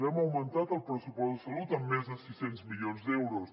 hem augmentat el pressupost d’educació en més de sis cents milions d’euros